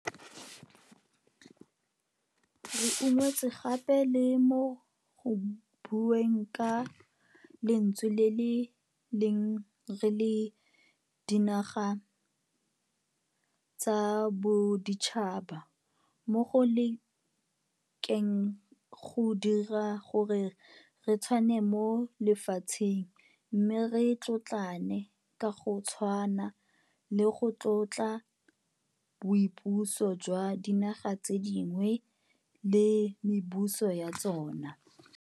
Re unngwetswe gape le mo go bueng ka lentswe le le leng re le dinaga tsa boditšhaba mo go lekeng go dira gore re tshwane mo lefatsheng mme re tlotlane ka go tshwana le go tlotla boipuso jwa dinaga tse dingwe le mebuso ya tsona.